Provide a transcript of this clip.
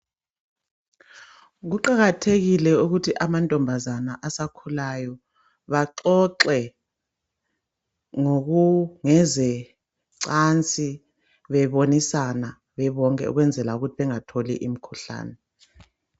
Kuqakathekile ukuthi amantombazana asakhulayo baxoxe ngezencansi, bebonisana bebonke okwenzela ukuthi bengatholi imikhuhlane.